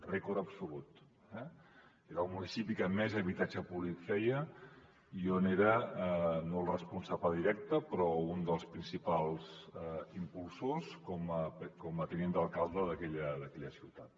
rècord absolut eh era el municipi que més habitatge públic feia i jo era no el responsable directe però un dels principals impulsors com a tinent d’alcalde d’aquella ciutat